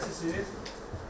Şikayətçisiz?